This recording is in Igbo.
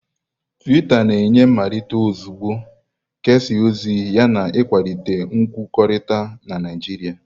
Tuita na-enye mmelite ozugbo, kesaa ozi yana ịkwalite nkwukọrịta na Naijiria.